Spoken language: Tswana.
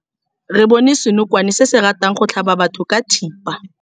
Re bone senokwane se se ratang go tlhaba batho ka thipa.